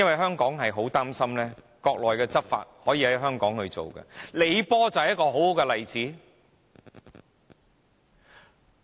香港十分擔心國內的法例可以在香港執行，李波便是一個很好的例子。